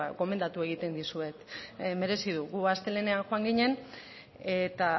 gomendatu egiten dizuet merezi du gu astelehenean joan ginen eta